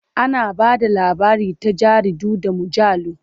Ana ba da labari ta jaridu da mujallu.